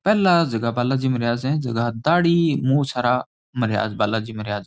पहला जीका बालाजी महाराज है जीका दाढ़ी मूछ हारा महाराज बालाजी महाराज।